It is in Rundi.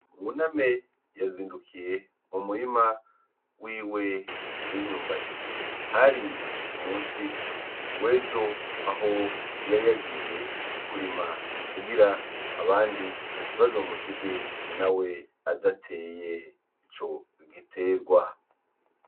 Buname yazindukiye mu murima wiwe w'imyumbati. Hari ku musi w'ejo aho yari yagiye mu murima kugira abandi ntibazomusige nawe adateye ico gitegwa.